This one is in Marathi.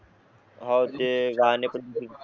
हो ते घाने पण